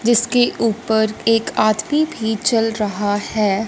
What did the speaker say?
जिसके ऊपर एक आदमी भी चल रहा हैं।